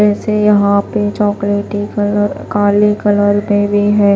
वैसे यहां पे चॉकलेटी कलर काले कलर में भी है।